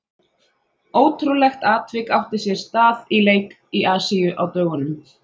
Ótrúlegt atvik átti sér stað í leik í Asíu á dögunum.